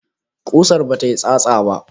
Kusar bata yi tsatsa ba?